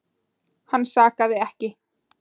Hann sakaði ekki.